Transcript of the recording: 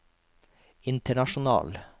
international